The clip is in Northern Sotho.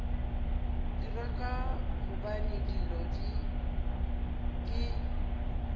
dira ka gobane dilo ke